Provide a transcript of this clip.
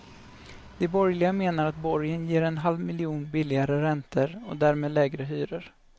De borgerliga menar att borgen ger en halv miljon billigare räntor och därmed lägre hyror.